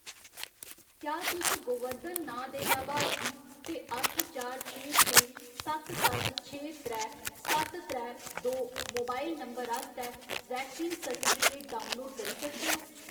क्या तुस गोवर्धन नांऽ दे लाभार्थी ते अट्ठ चार छे छे सत्त सत्त छे त्रै सत्त त्रै दो मोबाइल नंबर आस्तै वैक्सीन सर्टिफिकेट डाउनलोड करी सकदे ओ ?